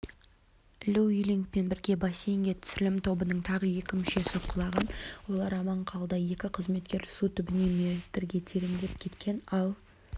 лю юлингпен бірге бассейнге түсірілім тобының тағы екі мүшесі құлаған олар аман қалды екі қызметкер су түбіне метрге тереңдеп кеткен ал